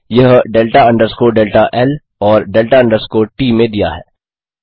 यह delta underscore delta ल और डेल्टा अंडरस्कोर ट में दिया है